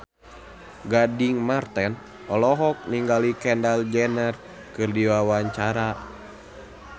Gading Marten olohok ningali Kendall Jenner keur diwawancara